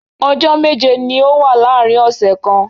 Ọjọ́ méje ni ó wà láàárín ọ̀sẹ̀ kan.